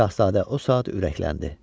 Şahzadə o saat ürəkləndi.